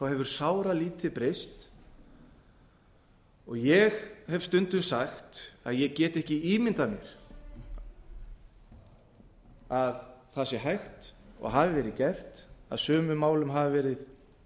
hefur sáralítið breyst og ég hef stundum sagt að ég get ekki ímyndað mér að það sé hægt og hafi verið gert að haldið